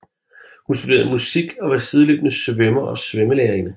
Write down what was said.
Hun studerede musik og var sideløbende svømmer og svømmelærerinde